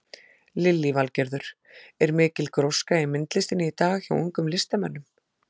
Lillý Valgerður: Er mikil gróska í myndlistinni í dag hjá ungum listamönnum?